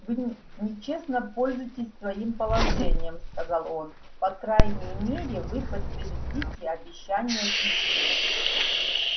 вы нечестно пользуетесь своим положением сказал он по крайней мере вы подтвердите обещание письменно